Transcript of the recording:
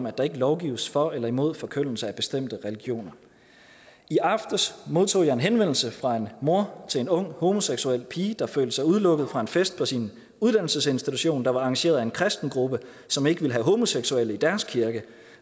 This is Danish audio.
at der ikke lovgives for eller imod forkyndelse af bestemte religioner i aftes modtog jeg en henvendelse fra en mor til en ung homoseksuel pige der følte sig udelukket fra en fest på sin uddannelsesinstitution der var arrangeret af en kristen gruppe som ikke vil have homoseksuelle i deres kirke